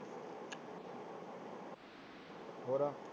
ਹੋਰ